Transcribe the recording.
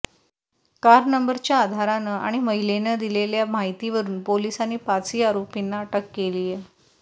car नंबरच्या आधारानं आणि महिलेनं दिलेल्या माहितीवरून पोलिसांनी पाचही आरोपींना अटक केलीय